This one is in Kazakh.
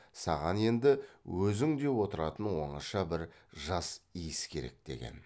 саған енді өзің деп отыратын оңаша бір жас иіс керек деген